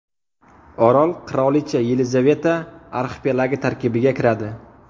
Orol Qirolicha Yelizaveta arxipelagi tarkibiga kiradi.